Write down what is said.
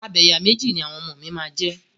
Abẹ̀yàméjì ni àwọn ọmọ mi máa jẹ.